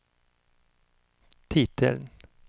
titeln